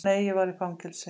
Nei, ég var í fangelsi.